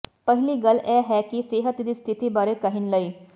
ਪਹਿਲੀ ਗੱਲ ਇਹ ਹੈ ਕਿ ਸਿਹਤ ਦੀ ਸਥਿਤੀ ਬਾਰੇ ਕਹਿਣ ਲਈ